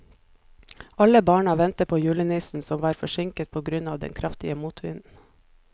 Alle barna ventet på julenissen, som var forsinket på grunn av den kraftige motvinden.